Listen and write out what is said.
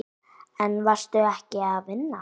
En varstu ekki að vinna?